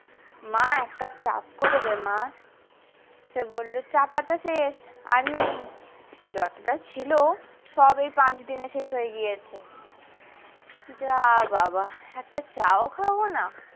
মা এক কাপ চা করে দে মা সে বললো চা পাতা শেষ আর নেই যতটা ছিল সব এই পাঁচ দিনে শেষ হয়ে গিয়েছে যা বাবা একটা চাও খাবো না।